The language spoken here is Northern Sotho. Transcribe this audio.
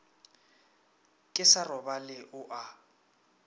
ke sa robale o a